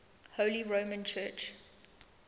holy roman church